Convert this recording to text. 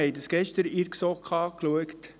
Wir haben es gestern in der GSoK angeschaut.